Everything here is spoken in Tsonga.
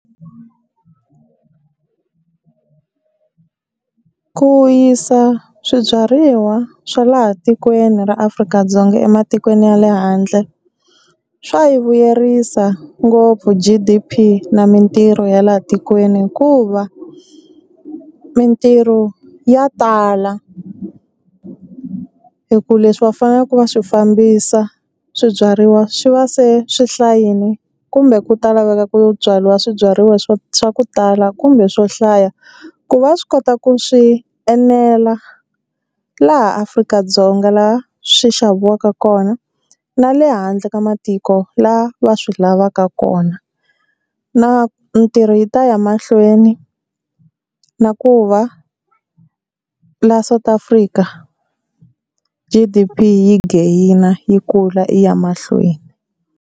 Ku yisa swibyariwa swa laha tikweni ra Afrika-Dzonga ematikweni ya le handle swa yi vuyerisa ngopfu G_D_P na mintirho ya laha tikweni, hikuva mintirho ya tala hi ku leswi va faneleke va swi fambisa swibyariwa swi va se swi hlayini kumbe ku ta laveka ku byariwa swibyariwa swo swa ku tala kumbe swo hlaya, ku va swi kota ku swi enela laha Afrika-Dzonga laha swi xaviwaka kona na le handle ka matiko laha va swi lavaka kona. Na mintirho yi ta ya mahlweni na ku va la South Africa G_D_P yi gain yi kula yi ya mahlweni.